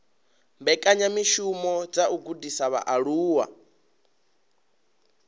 mbekanyamishumo dza u gudisa vhaaluwa